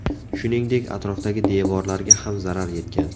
Shuningdek, atrofdagi devorlarga ham zarar yetgan.